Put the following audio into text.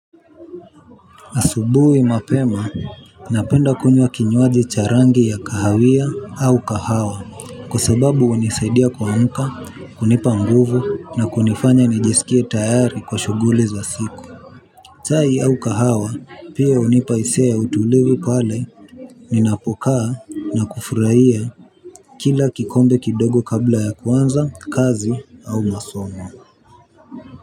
Asubuhi mapema, napenda kunywa kinywaji cha rangi ya kahawia au kahawa, kwa sababu hunisaidia kuamka, kunipa nguvu na kunifanya nijisikie tayari kwa shughuli za siku. Chai au kahawa, pia hunipa hisia ya utulivu pale, ninapokaa na kufurahia kila kikombe kidogo kabla ya kuanza, kazi au masomo.